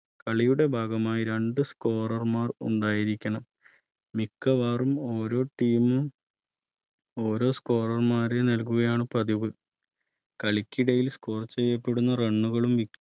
കളിയുടെ ഭാഗമായി രണ്ട്മാ Scorer ർ ഉണ്ടായിരിക്കണംമിക്കവാറും ഓരോ Team മും ഓരോ Score റും മാരെ നൽകുകയാണ് പതിവ് കളിക്കിടെ Score ചെയ്യപ്പെടുന്ന